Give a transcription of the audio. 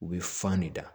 U bɛ fan de da